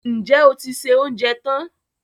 Ǹjẹ́ o ti se oúnjẹ tán